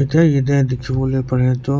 etia yate dikhi bole para tu